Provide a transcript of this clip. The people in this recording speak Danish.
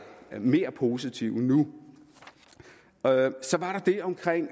mere positiv nu så var der det omkring